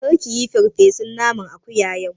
Kar kiyi farfesun naman akuya yau!